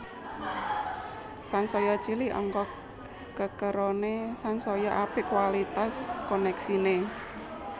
Sansaya cilik angka kekerone sansaya apik kualitas koneksine